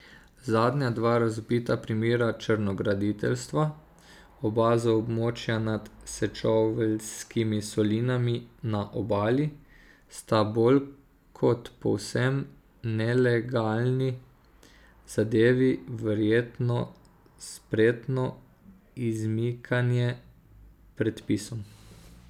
Zadnja dva razvpita primera črnograditeljstva, oba z območja nad Sečoveljskimi solinami na Obali, sta bolj kot povsem nelegalni zadevi verjetno spretno izmikanje predpisom.